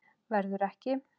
Verður ekki.